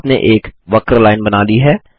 आपने एक वक्र लाइन बना ली है